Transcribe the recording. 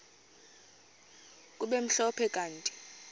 kube mhlophe kanti